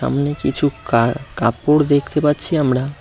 সামনে কিছু কা-কাপড় দেখতে পাচ্ছি আমরা।